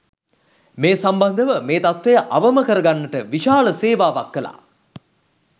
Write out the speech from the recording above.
මේ සම්බන්ධව මේ තත්ත්වය අවම කරගන්නට විශාල සේවාවක් කළා.